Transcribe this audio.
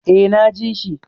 Eh, na ji shi